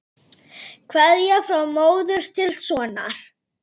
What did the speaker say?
Kveðja frá móður til sonar.